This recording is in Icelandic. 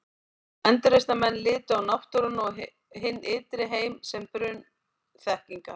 Endurreisnarmenn litu á náttúruna og hinn ytri heim sem brunn þekkingar.